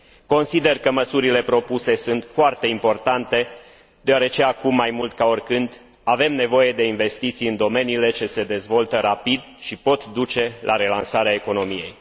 Consider că măsurile propuse sunt foarte importante, deoarece, acum mai mult ca oricând, avem nevoie de investiții în domeniile ce se dezvoltă rapid și pot duce la relansarea economiei.